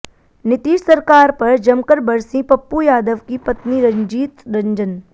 नीतीश सरकार पर जमकर बरसीं पप्पू यादव की पत्नी रंजीत रंजन